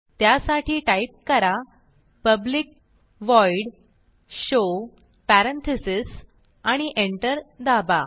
त्यासाठी टाईप करा public void show parentheses आणि एंटर दाबा